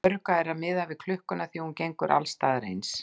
Öruggara er þá að miða við klukkuna því að hún gengur alls staðar eins.